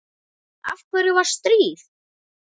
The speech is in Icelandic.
Af hverju var stríð?